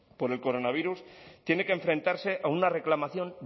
por el coronavirus tiene que enfrentarse a una reclamación